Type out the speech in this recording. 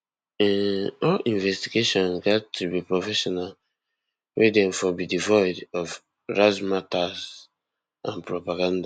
um all investigations gat to be professional wey dem for be devoid of razzmatazz and propaganda